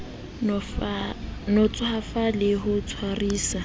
no tswafa ho le tshwarisa